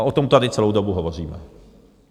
A o tom tady celou dobu hovoříme.